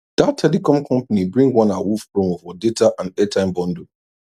that telecom company bring one awoof promo for data and airtime bundle